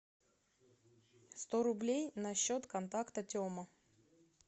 сто рублей на счет контакта тема